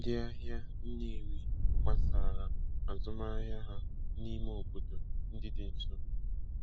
Ndị ahịa Nnewi gbasaara azụmahịa ha n'ime obodo ndị dị nso.